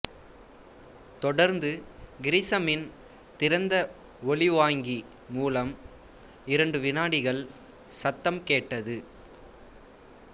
தொடர்ந்து கிரிசமின் திறந்த ஒலிவாங்கி மூலம் இரண்டு விநாடிகள் சத்தம் கேட்டது